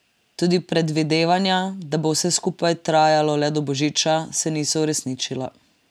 Tudi predvidevanja, da bo vse skupaj trajalo le do božiča, se niso uresničila.